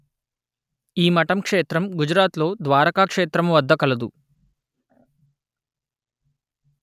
ఈ మఠం క్షేత్రం గుజరాత్ లో ద్వారకా క్షేత్రము వద్ద కలదు